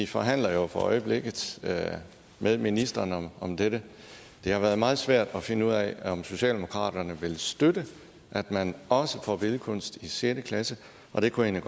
forhandler jo for øjeblikket med ministeren om dette det har været meget svært at finde ud af om socialdemokraterne vil støtte at man også får billedkunst i sjette klasse og det kunne jeg